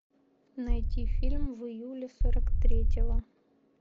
найти фильм в июле сорок третьего